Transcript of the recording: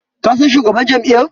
Ka san shugaban jam'iyyar?